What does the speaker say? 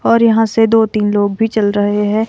और यहां से दो तीन लोग भी चल रहे हैं।